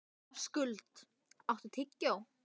Skuld, áttu tyggjó?